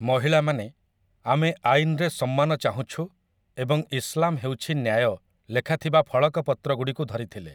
ମହିଳାମାନେ 'ଆମେ ଆଇନ୍‌ରେ ସମ୍ମାନ ଚାହୁଁଛୁ' ଏବଂ 'ଇସ୍ଲାମ୍ ହେଉଛି ନ୍ୟାୟ' ଲେଖାଥିବା ଫଳକ ପତ୍ରଗୁଡ଼ିକୁ ଧରିଥିଲେ ।